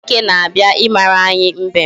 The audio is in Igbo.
Dike na-abịa ịmara anyị mbem